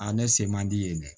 ne se man di yen dɛ